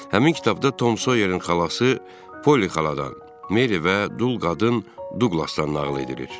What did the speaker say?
Həmin kitabda Tom Soyerin xalası Poli xaladan, Meri və Dul qadın Duqlasdan nağıl edilir.